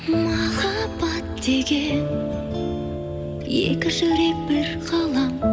махаббат деген екі жүрек бір ғалам